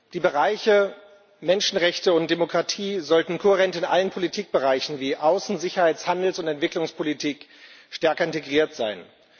Die Bereiche Menschenrechte und Demokratie sollten kohärent in allen Politikbereichen wie Außen Sicherheits Handels und Entwicklungspolitik stärker integriert sein.